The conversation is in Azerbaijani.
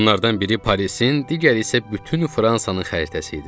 Bunlardan biri Parisin, digəri isə bütün Fransanın xəritəsi idi.